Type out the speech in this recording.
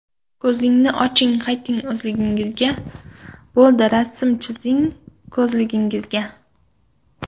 Ko‘zni oching, qayting o‘zlingizga, Bo‘ldi, rasm chizmang ko‘zligingizga.